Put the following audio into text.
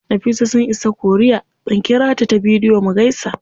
Nafisa sun isa korea, zan ƙirata ta bidiyo mu gaisa.